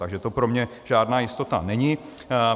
Takže to pro mne žádná jistota není.